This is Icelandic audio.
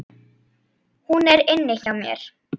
Hún er inni hjá mér.